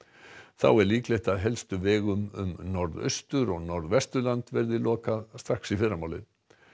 þá er líklegt að helstu vegum um Norðaustur og Norðvesturland verði lokað strax í fyrramálið